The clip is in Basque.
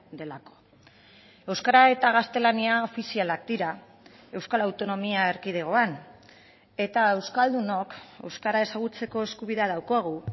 delako euskara eta gaztelania ofizialak dira euskal autonomia erkidegoan eta euskaldunok euskara ezagutzeko eskubidea daukagu